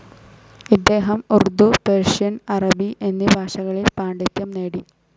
ഇദ്ദേഹം ഉർദു, പേർഷ്യൻ, അറബി എന്നീ ഭാഷകളിൽ പാണ്ഡിത്യം നേടി.